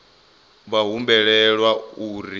vha humbelwa uri vha kwame